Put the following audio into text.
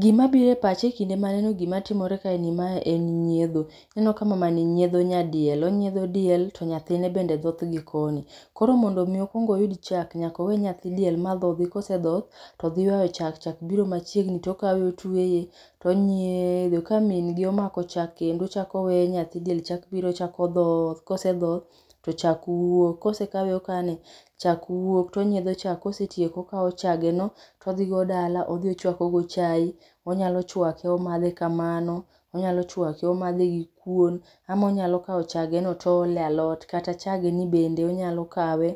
Gima biro e pacha ekinde maneno gima timore kaeni mae en nyiedho. Ineno ka mamani nyiedho nyadiel. Onyiedho diel to nyathine bende dhoth gikoni. Koro mondo mi okuong oyud chak, nyaka owe nyathi diel madhodhi, kose dhoth to dhi yuayo chak,. chak biro machiegni ti okawe otueye to nyiedho ka, min gi omako chak kendo, ochak oweyo nyathi diel chako biro chako dhoth , kose dhoth to chak wuok, kosekawe okane chak wuok, tonyiedho chak, kosetieko tokawo chageno, to odhigo dala, odhi ochuako go chae, onyalo chwake omadhe kamano, onyalo chuake omadhe gikuon, ama onyalo kawo chageno to oolo e alot, kata chageni bende onyalo kawe